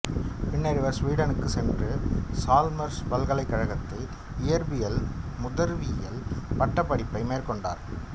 பின்னர் இவர்சுவீடனுக்குச் சென்று சால்மர்சு பல்கலைக்கழகத்தில் இயற்பியலில் மூதறிவியல் பட்டப்படிப்பை மேற்கொண்டார்